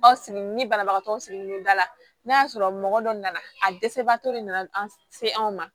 Aw sigi ni banabagatɔ sigilen don da la n'a y'a sɔrɔ mɔgɔ dɔ nana a dɛsɛbagatɔ de nana an se anw ma